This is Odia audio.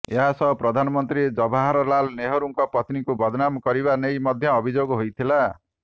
ଏହା ସହ ପ୍ରଧାନମନ୍ତ୍ରୀ ଜବାହରଲାଲ ନେହେରୁଙ୍କ ପତ୍ନୀଙ୍କୁ ବଦନାମ କରିବା ନେଇ ମଧ୍ୟ ଅଭିଯୋଗ ହୋଇଥିଲା